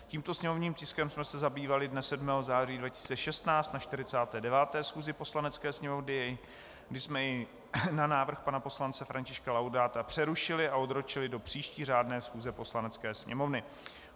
Tímto sněmovním tiskem jsme se zabývali dne 7. září 2016 na 49. schůzi Poslanecké sněmovny, kdy jsme jej na návrh pana poslance Františka Laudáta přerušili a odročili do příští řádné schůze Poslanecké sněmovny.